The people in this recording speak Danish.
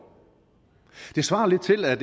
det svarer lidt til at